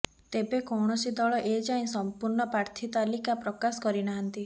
ତେବେ କୌଣସି ଦଳ ଏଯାଏ ସମ୍ପୂର୍ଣ୍ଣ ପ୍ରାର୍ଥୀ ତାଲିକା ପ୍ରକାଶ କରିନାହାନ୍ତି